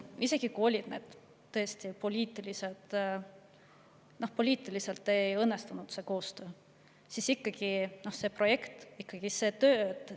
Isegi kui oli nii, et poliitiliselt koostöö ei õnnestunud, on minu hinnangul see ikkagi projekt.